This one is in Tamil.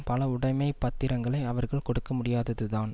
பல உடைமை பத்திரங்களை அவர்கள் கொடுக்க முடியாததுதான்